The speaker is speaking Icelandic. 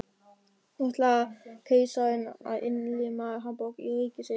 Nú ætlar keisarinn að innlima Hamborg í ríki sitt.